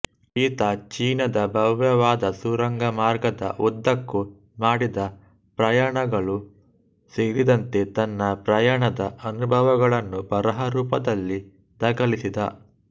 ಈತ ಚೀನಾದ ಭವ್ಯವಾದ ಸುರಂಗಮಾರ್ಗದ ಉದ್ದಕ್ಕೂ ಮಾಡಿದ ಪ್ರಯಾಣಗಳೂ ಸೇರಿದಂತೆ ತನ್ನ ಪ್ರಯಾಣದ ಅನುಭವಗಳನ್ನು ಬರಹರೂಪದಲ್ಲಿ ದಾಖಲಿಸಿದ